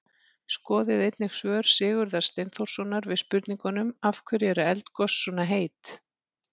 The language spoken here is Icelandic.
Skoðið einnig svör Sigurðar Steinþórssonar við spurningunum: Af hverju eru eldgos svona heit?